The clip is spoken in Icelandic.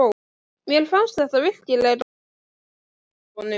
Mér fannst þetta virkilega fallega gert af honum.